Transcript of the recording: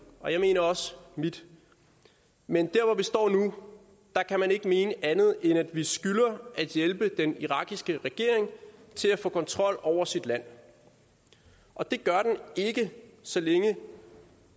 og jeg mener også mit men der hvor vi står nu kan man ikke mene andet end at vi skylder at hjælpe den irakiske regering til at få kontrol over sit land og det gør den ikke så længe